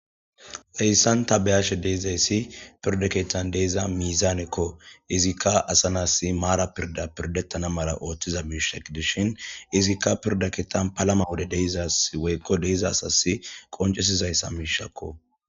Heyssan ta beyashe deezayssi pirda kettan deiza miizaanekko izikka asa nas maara pirda pirdettana mala ooththiza biishek dishin izikka pirdaketan palama wode deizas woykko deiza asasi qoncesizayssa miishakko.